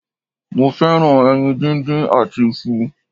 Mo fẹ́ràn ẹyin díndín àti isu